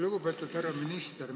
Lugupeetud härra minister!